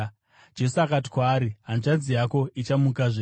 Jesu akati kwaari, “Hanzvadzi yako ichamukazve.”